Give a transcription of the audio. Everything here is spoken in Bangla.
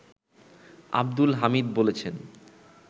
আব্দুল হামিদ বলেছেন